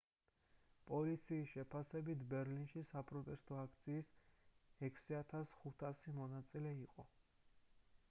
პოლიციის შეფასებით ბერლინში საპროტესტო აქციის 6500 მონაწილე იყო